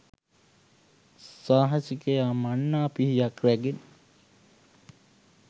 සාහසිකයා මන්නා පිහියක්‌ රැගෙන